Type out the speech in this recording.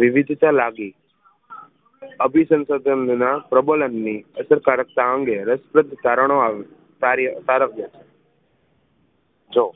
વિવિધતા લાવી અભિસંસાધનનોના પ્રબળન ની અસરકારકતા અંગે રસ્પદ કારણો કાર્યકારક જો